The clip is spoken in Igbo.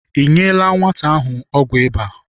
I nyela nwata ahụ ọgwụ ịba?